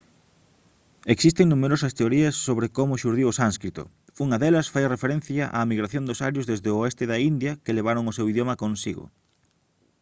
existen numerosas teorías sobre como xurdiu o sánscrito unha delas fai referencia á migración dos arios desde o oeste da india que levaron o seu idioma consigo